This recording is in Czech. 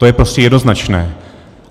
To je prostě jednoznačné.